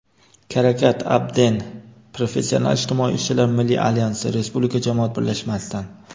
Karakat Abden – "Professional ijtimoiy ishchilar milliy alyansi" Respublika jamoat birlashmasidan.